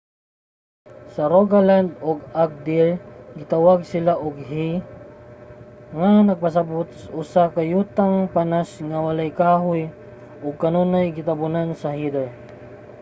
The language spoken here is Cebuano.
sa rogaland ug agder gitawag sila og hei nga nagpasabut usa ka yutang panas nga walay kahoy ug kanunay gitabonan sa heather